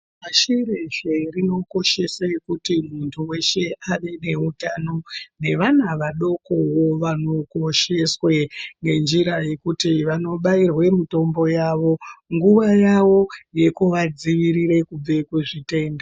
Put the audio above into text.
Pashi reshe rinokoshese kuti muntu weshe ave neutano nevana vadokowo vanokosheswe ngenjira yekuti vanobairwe mutombo yawo nguwa yawo yekuvadzivirire kubve kuzvitenda.